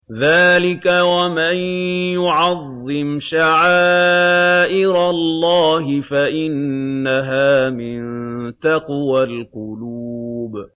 ذَٰلِكَ وَمَن يُعَظِّمْ شَعَائِرَ اللَّهِ فَإِنَّهَا مِن تَقْوَى الْقُلُوبِ